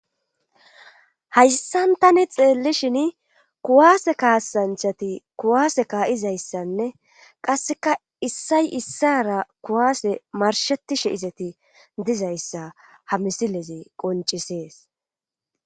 hayssan tani xeellishin kuwaase kaasanchati kuwaase kaa7izayssanne qasseka issay issara kuwaase marshetishe izeti dizayssa ha misileze qoncisees